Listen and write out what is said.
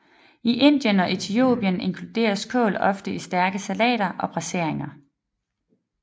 I Indien og Etiopien inkluderes kål ofte i stærke salater og braseringer